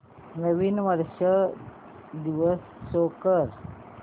नवीन वर्ष दिवस शो कर